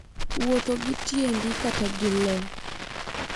Wuotho ​​gi tiendi kata gi le